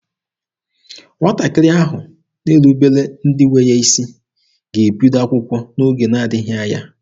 Nwatakịrị ahụ na-erubere ndị nwe ya isi ga-ebido akwụkwọ n'oge na-adịghị anya.